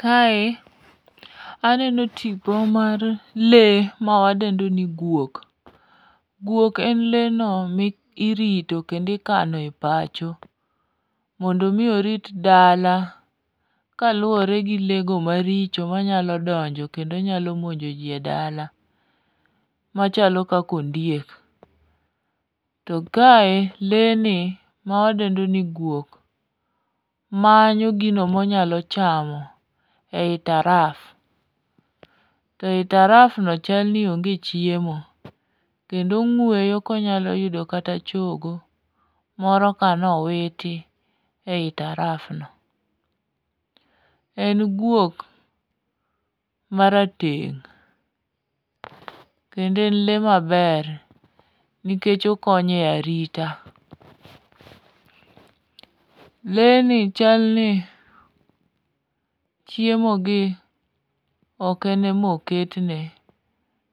Kae aneno tipo mar lee mawadendo ni guok. Guok en leeno morito kando ikano e pacho mondo omi orit dala kaluwore gi lee go maricho manyalo donjo kendo nyalo monjo ji e dala machalo kaka ondike. To kae lee ni mawadendo ni guok, manyo gino monyalo chamo ei taraf, to e tarafno chalni onge chiemo, kendo ong'weyo konyalo yudo kata chogo, moro kanowiti ei tarafno, en guok marateng' kendo en lee maber nikech okonyo e arita . Lee ni chal ni chiemogi ok ene moket ne,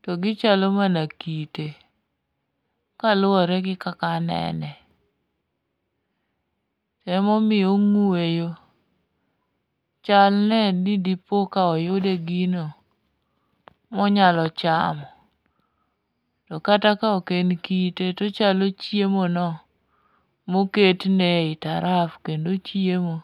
to gichalo mana kite, kaluwore gi kaka anene. Emomiyo ong'weyo chal ne di dipoka oyude gino monyalo chamo, to kata ka ok en kite, tochalo chiemono moketne ei taraf kendo ochiemo.